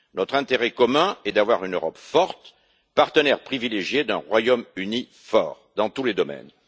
Notre intérêt commun est d'avoir une Europe forte, partenaire privilégiée d'un Royaume Uni fort dans tous les domaines.